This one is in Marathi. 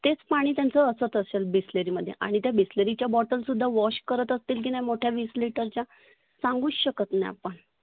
तेच पाणि असत असेल bisleri मध्ये. आणि त्या bisleri च्या botal सुद्धा wash करत असतील की नाही मोठ्या विस लिटरच्या सांगुच शकत नाही आपण.